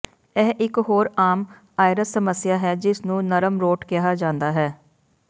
ਇਹ ਇਕ ਹੋਰ ਆਮ ਆਇਰਿਸ ਸਮੱਸਿਆ ਹੈ ਜਿਸ ਨੂੰ ਨਰਮ ਰੋਟ ਕਿਹਾ ਜਾਂਦਾ ਹੈ